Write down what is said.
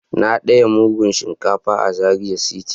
Na daya mudu Shinkafan a Zaria city.